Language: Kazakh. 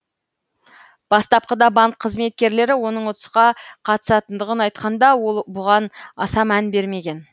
бастапқыда банк қызметкерлері оның ұтысқа қатысатындығын айтқанда ол бұған аса мән бермеген